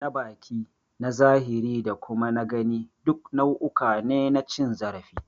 Na baki, na zahiri da kuma na gani duk nau'uka ne na cin zarafi.